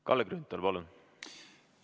Kalle Grünthal, palun!